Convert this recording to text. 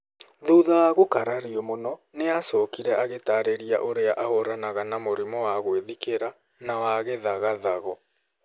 Thutha wa gũkarario mũno , nĩ acokire agĩtaarĩria ũrĩa ahũũranaga na mũrimũ wa gwĩthikĩra na wa gĩthagathago.